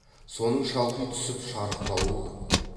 соның шалқи түсіп шарықтауы көп